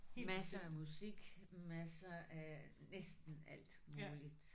Masser af musik masser af næsten alt muligt